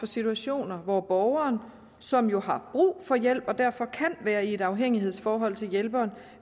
situationer hvor borgeren som jo har brug for hjælp og derfor kan være i et afhængighedsforhold til hjælperen